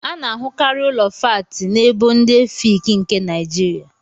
A na ahụkarị Ụlọ fáátị na ébò ndị Efịịki nke Naijiria